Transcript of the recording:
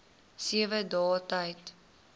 sewe dae tyd